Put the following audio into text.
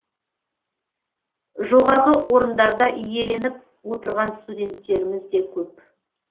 жоғарғы орындарда иеленіп отырған студенттеріміз де көп